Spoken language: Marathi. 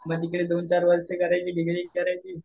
मग तिकडे दोन चार वर्षे करायची डिग्री करायची